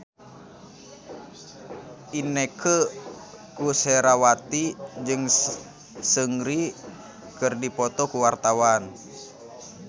Inneke Koesherawati jeung Seungri keur dipoto ku wartawan